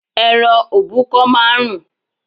Ẹran òbúkọ máa ń rùn